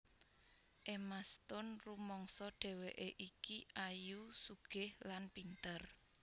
Emma Stone rumangsa dhewekke iki ayu sugih lan pinter